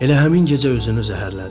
Elə həmin gecə özünü zəhərlədi.